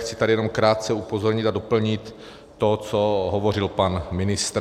Chci tady jenom krátce upozornit a doplnit to, co hovořil pan ministr.